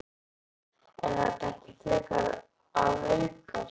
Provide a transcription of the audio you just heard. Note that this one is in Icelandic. Er þetta ekki frekar að aukast?